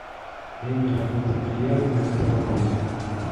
время работы бильярдной в этом отеле